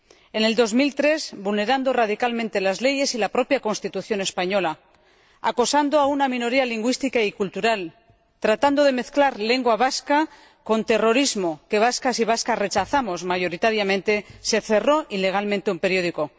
En el 2003, vulnerando radicalmente las leyes y la propia Constitución española, acosando a una minoría lingüística y cultural, tratando de mezclar lengua vasca con terrorismo —que vascas y vascos rechazamos mayoritariamente—, se cerró ilegalmente un periódico.